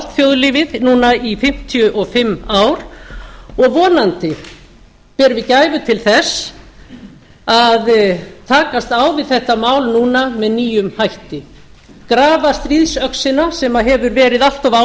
á þjóðlífið núna í fimmtíu og fimm ár og vonandi berum við gæfu til þess að takast á við þetta mál núna með nýjum hætti grafa stríðsöxina sem hefur verið allt of